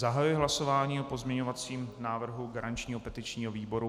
Zahajuji hlasování o pozměňovacím návrhu garančního petičního výboru.